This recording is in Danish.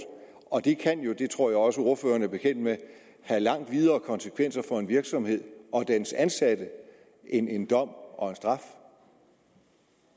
og det kan jo det tror jeg også ordføreren er bekendt med have langt videre konsekvenser for en virksomhed og dens ansatte end en dom og